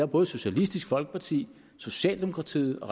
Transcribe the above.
både socialistisk folkeparti socialdemokratiet og